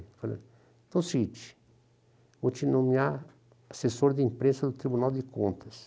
Falou ''Então é o seguinte, vou te nomear assessor de imprensa do Tribunal de Contas''.